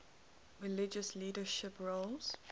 religious leadership roles